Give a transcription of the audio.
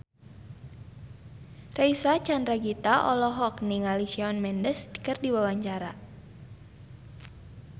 Reysa Chandragitta olohok ningali Shawn Mendes keur diwawancara